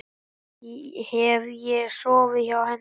Hef ég sofið hjá henni?